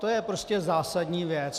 To je prostě zásadní věc.